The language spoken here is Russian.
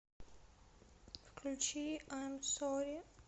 включи айм сорри